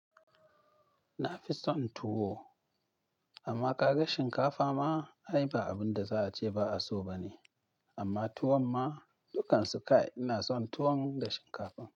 Na fi son tuwo amma ƙaga shinkafa ma, ai ba abun da za'a ce ba'a so ba ne. Amma tuwon ma, dukkan su kai ina son tuwon da shinkafa.